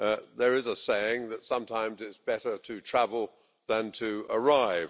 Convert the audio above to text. There is a saying that sometimes it's better to travel than to arrive.